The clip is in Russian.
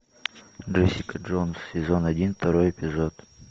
джессика джонс сезон один второй эпизод